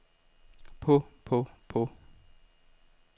på på på